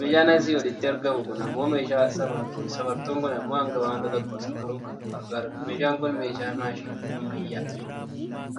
Meeshaan asii olitti argamu kun ammoo meeshaa safartuuti. Safartuun kun ammoo hanga wanta tokkoo safaruuf kan nu gargaarudha. Meeshaan kun meeshaa maashinii ammayyaa